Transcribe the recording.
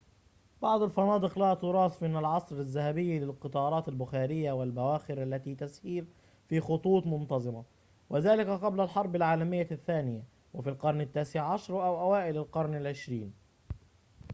بعض الفنادق لها تراث من العصر الذهبي للقطارات البخارية والبواخر التي تسير في خطوط منتظمة وذلك قبل الحرب العالمية الثانية في القرن التاسع عشر أو أوائل القرن العشرين